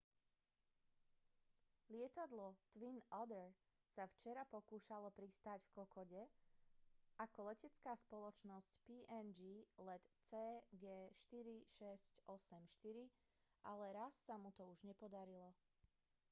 lietadlo twin otter sa včera pokúšalo pristáť v kokode ako letecká spoločnosť png let cg4684 ale raz sa mu to už nepodarilo